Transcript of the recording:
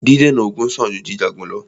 Dídènà ogun sàn jù jíjà ogun lọ́.